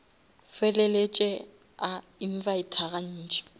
feleletše a invita ga ntši